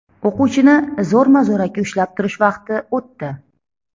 O‘quvchini zo‘rma-zo‘raki ushlab turish vaqti o‘tdi.